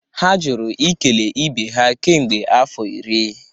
ha jụrụ ikele ibe ha kemgbe afọ iri